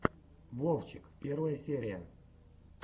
вовчик первая серия